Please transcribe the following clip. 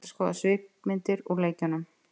Nú er hægt að skoða svipmyndir úr leikjunum.